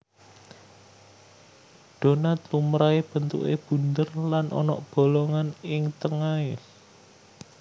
Donat lumrahé bentuké bunder lan ana bolongan ing tengahé